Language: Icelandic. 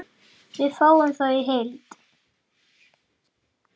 Við fáum þá í heild